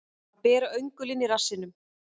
Að bera öngulinn í rassinum